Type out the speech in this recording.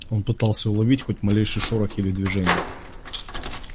он пытался уловить хоть малейший шорох или движение